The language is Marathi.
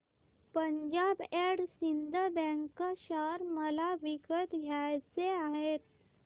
Punjab and Sind bank share मला विकत घ्यायचे आहेत